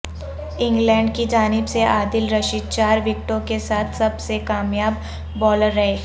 England کی جانب سے عادل رشید چار وکٹوں کے ساتھ سب سے کامیاب بولر رہے